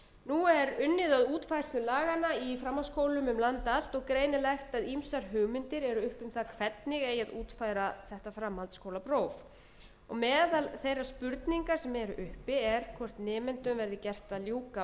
nú er unnið að útfærslu laganna í framhaldsskólum um land allt og greinilegt að ýmsar hugmyndir eru uppi um það hvernig eigi að útfæra þetta framhaldsskólapróf meðal þeirra spurninga sem eru uppi er hvort nemendum verði gert að